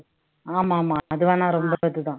ஆமாம் ஆமாம் அது வேணா ரொம்ப இதுதான்